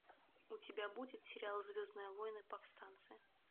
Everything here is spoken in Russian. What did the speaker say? у тебя будет сериал звездные войны повстанцы